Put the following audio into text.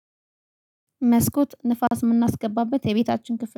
መስኮት ንፋስ የምናስገባበት የቤታችን ክፍል